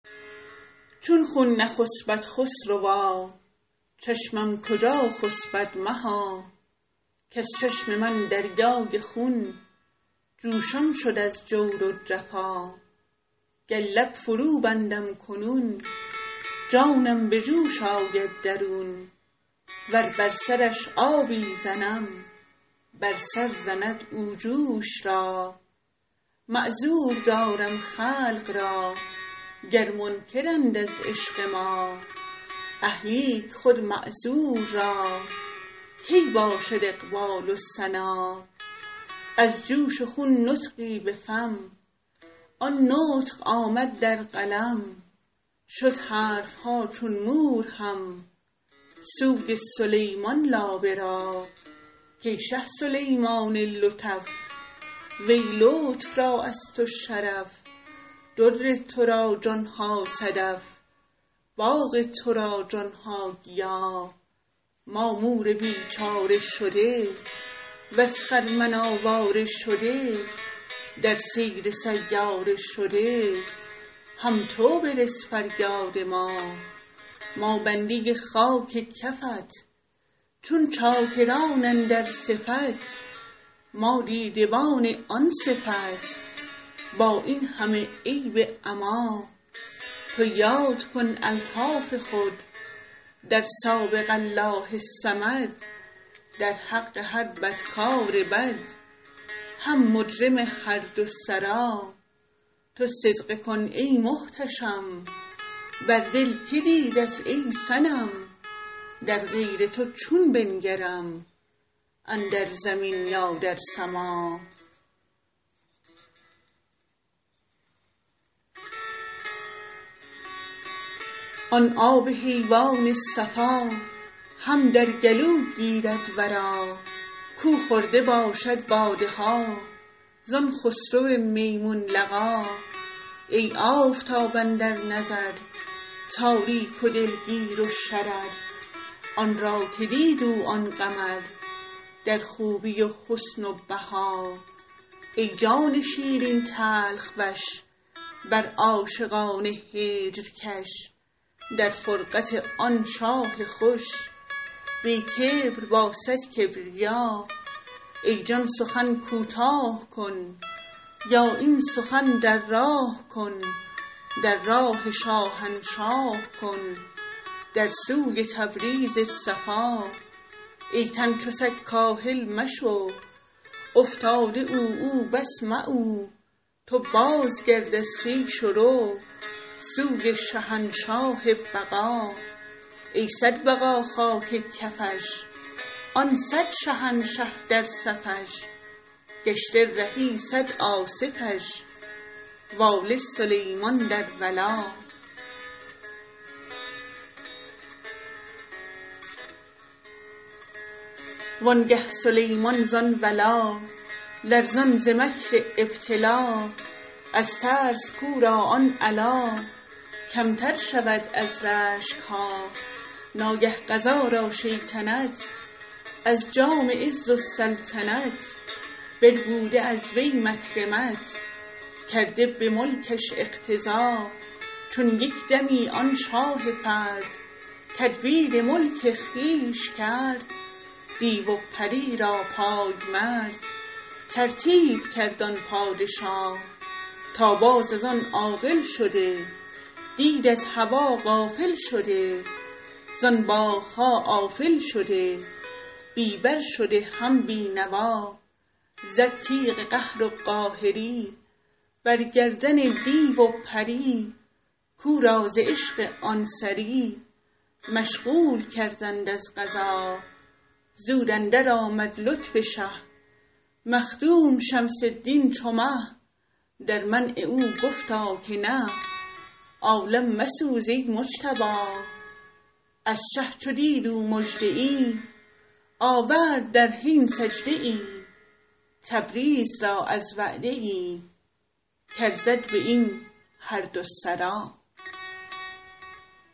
چون خون نخسپد خسروا چشمم کجا خسپد مها کز چشم من دریای خون جوشان شد از جور و جفا گر لب فروبندم کنون جانم به جوش آید درون ور بر سرش آبی زنم بر سر زند او جوش را معذور دارم خلق را گر منکرند از عشق ما اه لیک خود معذور را کی باشد اقبال و سنا از جوش خون نطقی به فم آن نطق آمد در قلم شد حرف ها چون مور هم سوی سلیمان لابه را کای شه سلیمان لطف وی لطف را از تو شرف در تو را جان ها صدف باغ تو را جان ها گیا ما مور بیچاره شده وز خرمن آواره شده در سیر سیاره شده هم تو برس فریاد ما ما بنده خاک کفت چون چاکران اندر صفت ما دیدبان آن صفت با این همه عیب عما تو یاد کن الطاف خود در سابق الله الصمد در حق هر بدکار بد هم مجرم هر دو سرا تو صدقه کن ای محتشم بر دل که دیدت ای صنم در غیر تو چون بنگرم اندر زمین یا در سما آن آب حیوان صفا هم در گلو گیرد ورا کو خورده باشد باده ها زان خسرو میمون لقا ای آفتاب اندر نظر تاریک و دلگیر و شرر آن را که دید او آن قمر در خوبی و حسن و بها ای جان شیرین تلخ وش بر عاشقان هجر کش در فرقت آن شاه خوش بی کبر با صد کبریا ای جان سخن کوتاه کن یا این سخن در راه کن در راه شاهنشاه کن در سوی تبریز صفا ای تن چو سگ کاهل مشو افتاده عوعو بس معو تو بازگرد از خویش و رو سوی شهنشاه بقا ای صد بقا خاک کفش آن صد شهنشه در صفش گشته رهی صد آصفش واله سلیمان در ولا وانگه سلیمان زان ولا لرزان ز مکر ابتلا از ترس کو را آن علا کمتر شود از رشک ها ناگه قضا را شیطنت از جام عز و سلطنت بربوده از وی مکرمت کرده به ملکش اقتضا چون یک دمی آن شاه فرد تدبیر ملک خویش کرد دیو و پری را پای مرد ترتیب کرد آن پادشا تا باز از آن عاقل شده دید از هوا غافل شده زان باغ ها آفل شده بی بر شده هم بی نوا زد تیغ قهر و قاهری بر گردن دیو و پری کو را ز عشق آن سری مشغول کردند از قضا زود اندرآمد لطف شه مخدوم شمس الدین چو مه در منع او گفتا که نه عالم مسوز ای مجتبا از شه چو دید او مژده ای آورد در حین سجده ای تبریز را از وعده ای کارزد به این هر دو سرا